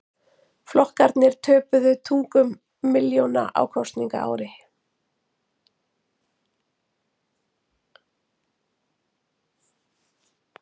Flokkarnir töpuðu tugum milljóna á kosningaári